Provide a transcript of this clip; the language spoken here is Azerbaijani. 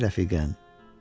Bu da sənin rəfiqən.